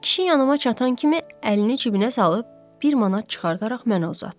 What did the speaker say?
Kişi yanıma çatan kimi əlini cibinə salıb bir manat çıxardaraq mənə uzatdı.